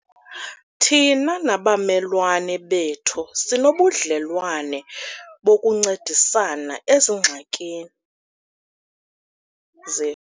Thina nabamelwane bethu sinobudlelwane bokuncedisana ezingxakini zethu.